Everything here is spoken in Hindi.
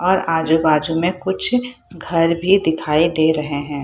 और आजू-बाजू में कुछ घर भी दिखाई दे रहे है।